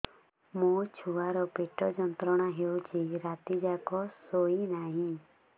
ମୋ ଛୁଆର ପେଟ ଯନ୍ତ୍ରଣା ହେଉଛି ରାତି ଯାକ ଶୋଇନାହିଁ